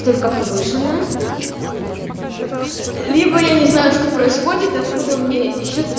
только повышенная либо я не знаю что происходит откуда мне ещё три